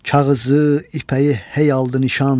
Kağızı, ipəyi hey aldı nişan.